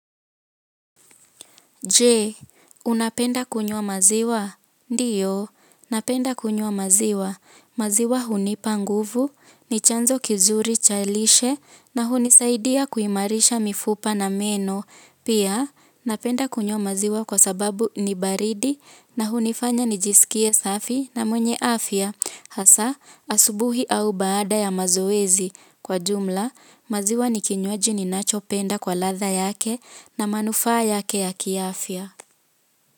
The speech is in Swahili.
Je, unapenda kunywa maziwa? Ndiyo, napenda kunywa maziwa. Maziwa hunipa nguvu, ni chanzo kizuri cha lishe, na hunisaidia kuimarisha mifupa na meno. Pia, napenda kunywa maziwa kwa sababu ni baridi, na hunifanya nijisikie safi na mwenye afya. Hasa, asubuhi au baada ya mazoezi kwa jumla, maziwa nikinywaji ninachopenda kwa ladha yake na manufaa yake ya kiafya.